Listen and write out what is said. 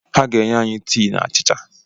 Ha ga-enye anyị tii na achicha.